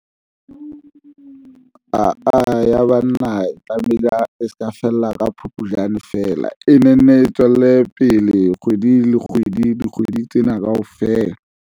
Aa ya banna e tlamehile e se ka fela, ka Phupjane feela e ne nne tswelle pele kgwedi le kgwedi, dikgwedi tsena kaofela.